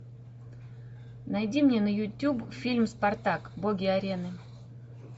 найди мне на ютуб фильм спартак боги арены